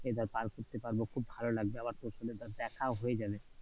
এদের পার করতে পারবো খুব ভালো লাগবে, আবার তোর সঙ্গে ধর দেখাও হয়ে যাবে।